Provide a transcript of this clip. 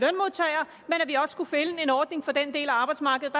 vi også skulle finde en ordning for den del af arbejdsmarkedet